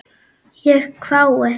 Ég hvái.